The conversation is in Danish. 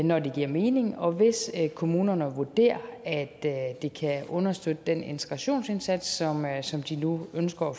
når det giver mening og hvis kommunerne vurderer at det kan understøtte den integrationsindsats som de nu ønsker at